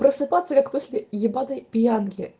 просыпаться как после ебанной пьянки